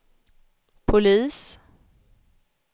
polis